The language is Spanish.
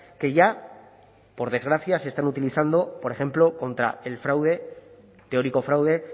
que ya por desgracia se están utilizando por ejemplo contra el fraude teórico fraude